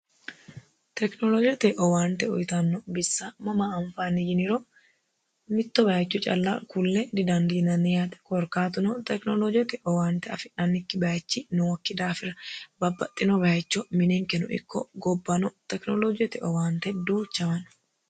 tekinoloojete owaante uyitanno bissa mama anfaanni yiniro mitto bayicho calla kulle didandiinanni yaate korkaatuno tekinoloojete owaante afi'nannikki bayichi nookki daafira babbaxxino bayicho mininkeno ikko gobbano tekinoloojete owaante duuchawa no.